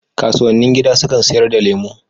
Kasuwannin gida sukan sayar da lemu